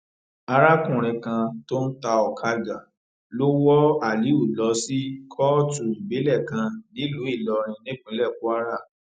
arákùnrin kan tó ń ta ọkadà lọ wọ aliu lọ sí kóòtù ìbílẹ kan nílùú ìlọrin nípínlẹ kwara